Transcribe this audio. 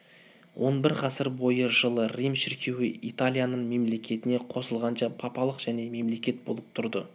он бір ғасыр бойы жылы рим шіркеуі италияның мемлекетіне қосылғанша папалық жеке мемлекет болып тұрды